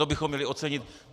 To bychom měli ocenit.